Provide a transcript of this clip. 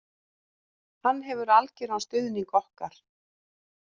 Hann hefur algjöran stuðning okkar